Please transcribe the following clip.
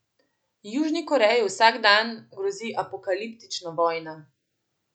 Južni Koreji vsak dan grozi apokaliptična vojna.